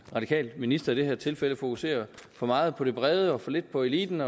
radikal minister i det her tilfælde fokuserer for meget på det brede og for lidt på eliten